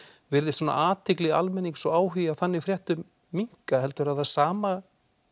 virðist athygli almennings og áhugi á þannig fréttum minnka heldurðu að það sama